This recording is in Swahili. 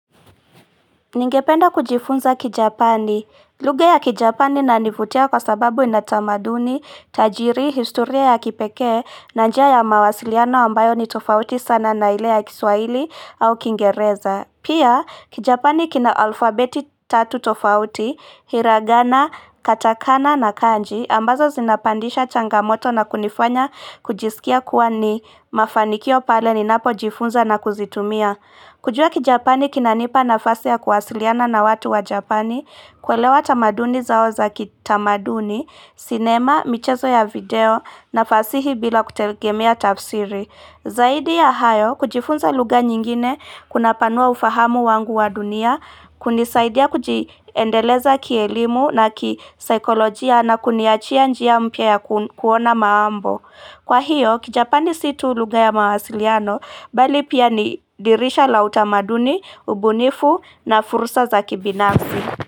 Ningependa kujifunza kijapani. Lugha ya kijapani inanifutia kwa sababu inatamaduni, tajiri, historia ya kipeke, na njia ya mawasiliano ambayo ni tofauti sana na ile ya kiswaili au kingereza. Pia kijapani kina alfabeti tatu tofauti, hiragana, katakana na kanji, ambazo zinapandisha changamoto na kunifanya kujisikia kuwa ni mafanikio pale ninapo jifunza na kuzitumia. Kujua kijapani kinanipa na fasi ya kuwasiliana na watu wa japani, kwelewa tamaduni zao za kitamaduni, sinema, michezo ya video, na fasi hii bila kutelgemea tafsiri. Zaidi ya hayo, kujifunza lugha nyingine, kuna panua ufahamu wangu wa dunia, kunisaidia kujiendeleza kielimu na kisaikolojia na kuniachia njia mpya ya kuona maambo. Kwa hiyo kijapani situ lugha ya mawasiliano bali pia ni dirisha la utamaduni, ubunifu na furusa za kibinafsi.